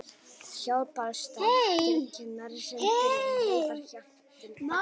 Hjálparstarf kirkjunnar sendir neyðarhjálp til Pakistan